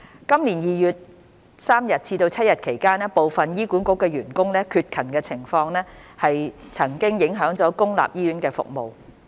今年2月3日至7日期間部分醫管局員工的缺勤情況曾經影響公立醫院服務。